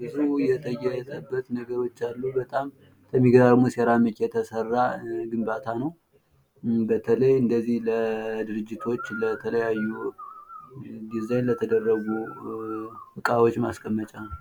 ብዙ የተጌጠበት ነገሮች አሉ። በጣም በሚገራርሙ በሴራሚክ የተሰራ ግንባታ ነዉ። በለተይ እንደዚህ ለድርጅቶች ዲዛይን ለተደረጉ እቃዎች ማስቀመጫ ነዉ።